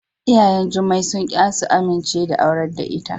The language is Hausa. Iyayen Jummai sunki su amince da aurar da ita.